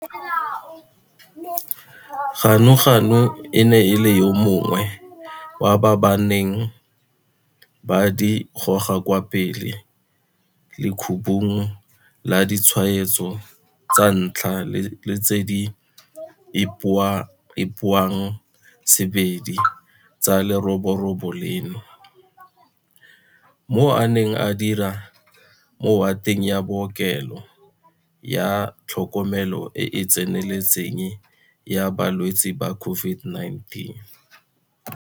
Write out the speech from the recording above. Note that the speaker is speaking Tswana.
Ganuganu e ne e le yo mongwe wa ba ba neng ba di goga kwa pele mo lekhubung laditshwaetso tsa ntlha le tse di ipoangsebedi tsa leroborobo leno, mo a neng a dira mowateng ya bookelo ya tlhokomelo e e tseneletseng ya ba lwetse ba COVID-19.